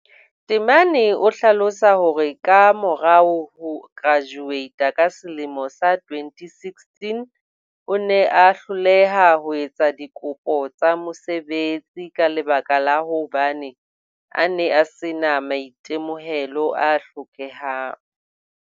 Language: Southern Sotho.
Temane o hlalosa hore ka morao ho kerajuweita ka selemo sa 2016 o ne a hloleha ho etsa dikopo tsa mosebetsi ka lebaka la hobane a ne a sena maitemohelo a hlokehang.